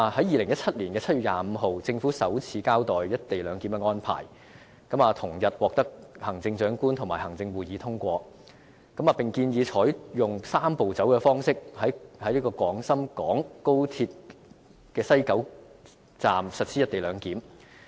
2017年7月25日，政府首次交代"一地兩檢"的安排，同日獲行政長官會同行會通過，並建議採用"三步走"的方式於西九龍高鐵站實施"一地兩檢"。